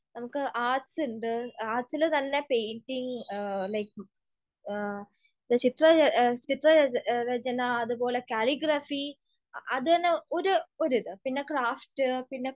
നമുക്ക് ആർട്സ് ഉണ്ട്. ആർട്സിൽ തന്നെ പെയിന്റിങ്, ചിത്രരചന, അതുപോലെ കാലിഗ്രാഫി, അതന്നെ ഒരു ഒരു ഇത്, പിന്നെ ക്രാഫ്റ്റ്,